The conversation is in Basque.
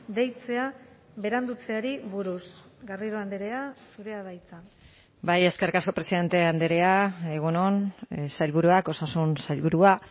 deitzea berandutzeari buruz garrido andrea zurea da hitza bai eskerrik asko presidente andrea egun on sailburuak osasun sailburua